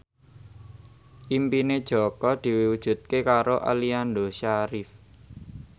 impine Jaka diwujudke karo Aliando Syarif